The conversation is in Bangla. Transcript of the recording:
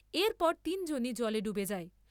এরপরে তিনজনই জলে ডুবে যায় ।